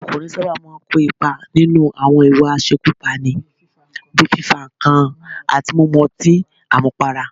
Àwọn ọkùnrin máa ń sábà kò ipa nínú àwọn ìwà àṣekúpani, bíi fífa nǹkan àti mímu ọtín àmupara